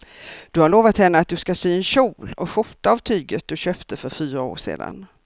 Du har lovat henne att du ska sy en kjol och skjorta av tyget du köpte för fyra år sedan.